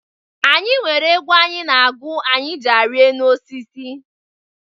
Anyị nwere egwu anyị na-agụ anyị jị arị enu osisi.